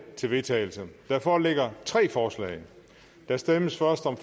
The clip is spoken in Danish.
til vedtagelse der foreligger tre forslag der stemmes først om